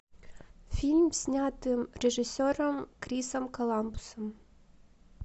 фильм снятый режиссером крисом коламбусом